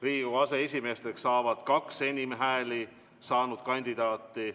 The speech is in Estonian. Riigikogu aseesimeesteks saavad kaks enim hääli saanud kandidaati.